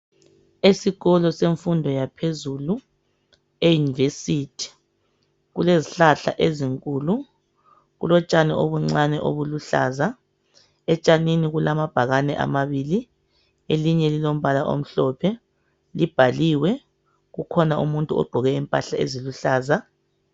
Esikolo semfundo yaphezulu eUniversity kulezihlahla ezinkulu kulotshani obuncane obuluhlaza etshanini kulamabhakane amabili elinye lilombala omhlophe libhaliwe kukhona umuntu ogqoke impahla eziluhlaza